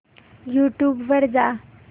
YouTube वर जा